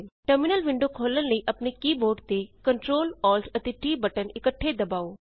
terminal window ਖੋਲ੍ਹਣ ਲਈ ਆਪਣੇ ਕੀ ਬੋਰਡ ਤੇ Ctrl Alt ਅਤੇ T ਬਟਨ ਇੱਕਠੇ ਦਬਾਉ